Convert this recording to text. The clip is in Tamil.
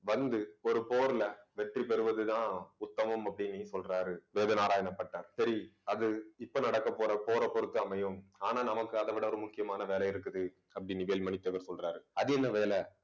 வந்து, ஒரு போர்ல வெற்றி பெறுவதுதான் உத்தமம் அப்பிடின்னு சொல்றாரு வேதநாராயண பட்டர். சரி அது இப்ப நடக்கப் போற போரைப் பொறுத்து அமையும். ஆனா நமக்கு அதை விட ஒரு முக்கியமான வேலை இருக்குது அப்பிடின்னு வேல்மணி தேவர் சொல்றாரு. அது என்ன வேலை